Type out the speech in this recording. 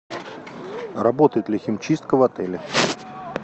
работает ли химчистка в отеле